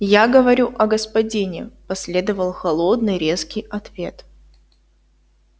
я говорю о господине последовал холодный резкий ответ